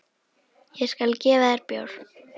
Ég skal gefa þér bjór.